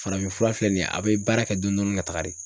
Farafin fura filɛ nin ye a be baara kɛ dɔn dɔɔni ka taga de.